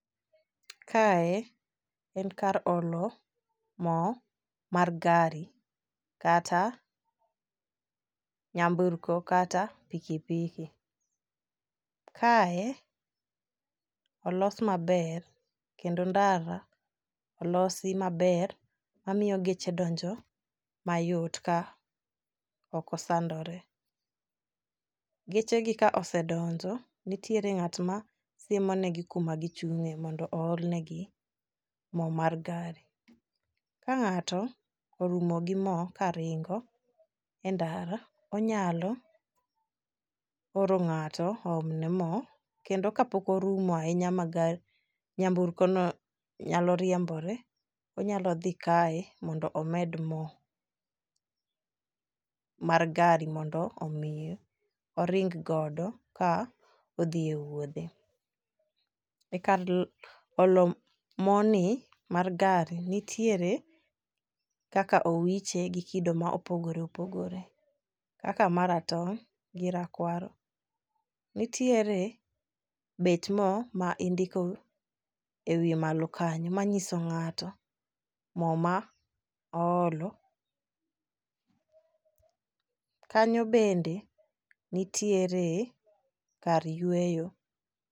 Kae en kar olo moo mar gari kata nyamburko kata pikipiki. Kae olos maber kendo ndara olosi maber mamiyo geche donjo mayot ka ok osandore . Geche gi ka osedonjo nitiere ng'at ma siemo negi kuma gichung'e mondo oolne gi moo mar gari. Ka ng'ato orumo gi moo karingo endara onyalo oro ng'ato oom ne moo kendo kapok orumo ahinya ma ga nyamburko no nyalo riembore, onyalo dhi kae mondo omed moo mar gari mondo mi oring godo ka odhi e wuodhe. E kar olo moo ni mar gari nitiere kaka owiche gi kido ma opogore opogore kaka maratong' gi rakwaro. Nitiere bech moo ma indiko ewiye malo kanyo manyiso ng'ato moo ma oolo .Kanyo bende nitiere kar yweyo.